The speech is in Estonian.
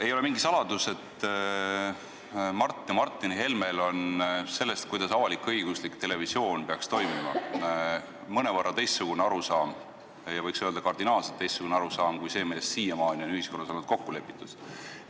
Ei ole mingi saladus, et Mart ja Martin Helmel on sellest, kuidas avalik-õiguslik televisioon peaks toimima, mõnevõrra teistsugune arusaam ja võiks isegi öelda, kardinaalselt teistsugune arusaam kui see, milles siiamaani on ühiskonnas olnud kokku lepitud.